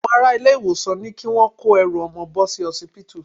Àwọn ará ilé-ìwòsàn ní kí wọ́n kó ẹrù ọmọ bò sí osipitu.